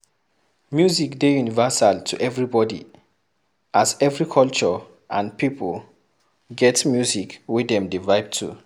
music dey universal to everybody, as every culture and pipo get music wey dem dey vibe to